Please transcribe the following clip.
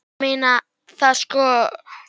Ég meina það sko.